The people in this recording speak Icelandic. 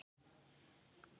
kallaði biskup hárri röddu.